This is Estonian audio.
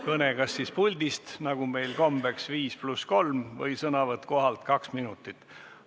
Kõne siis kas puldist, nagu meil kombeks, 5 + 3 minutit, või sõnavõtt kohapealt 2 minutit.